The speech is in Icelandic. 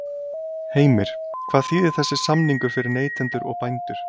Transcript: Heimir: Hvað þýðir þessi samningur fyrir neytendur og bændur?